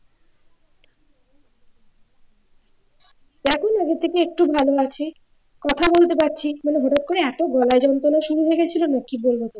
এখন আগে থেকে একটু ভালো আছি কথা বলতে পারছি কিন্তু হঠাৎ করে এতো গলা যন্ত্রণা শুরু হয়ে গিয়েছিল না কি বলবো